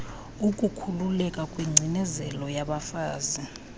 ukukhuululeka kwingeinezelo yabafazi